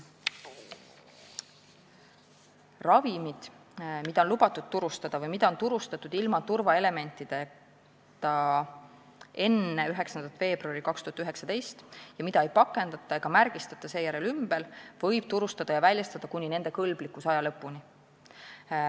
Ravimid, mida on lubatud turustada või mida on turustatud ilma turvaelementideta enne 9. veebruari 2019 ja mida ei pakendata ega märgistata seejärel uuesti, võib turustada ja väljastada kuni nende kõlblikkusaja lõpuni.